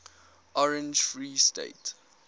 orange free state